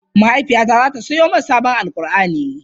Mahaifiyata zata siyo min sabon Alqur'ani.